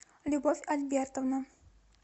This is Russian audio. любовь альбертовна